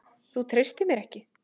Þú treystir mér ekki!